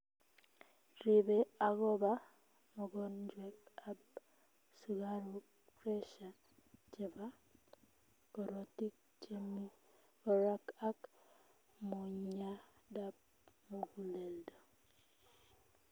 Riibe agobaa mogonjwet ab sukaruk pressure chebaa korotik chemii baraak ak monyadap mugulel